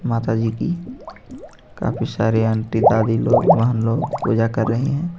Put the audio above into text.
माता जी की काफी सारी आंटी दादी लोग बहन लोग पूजा कर रही है.